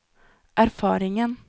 erfaringen